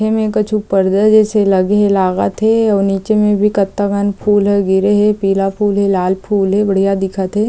ऐमे कछु पर्दा जईसे लगे हे लागत हे अउ नीचे में भी कतका कन फूल हे गिरे हे पीला फूल हे लाल फूल हे बढ़िया दिखत हे।